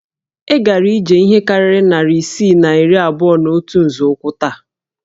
E gara ije ihe karịrị narị isii na iri abụọ na otu nzọụkwụ taa